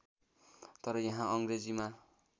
तर यहाँ अङ्ग्रेजीमा